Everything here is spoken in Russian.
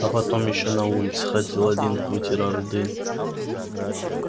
а потом ещё на улице ходил один вытирал дым